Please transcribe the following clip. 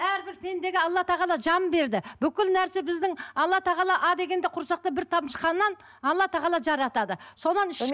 әрбір пендеге алла тағала жан берді бүкіл нәрсе біздің алла тағала а дегенде құрсақта бір тамшы қаннан алла тағала жаратады сонан іш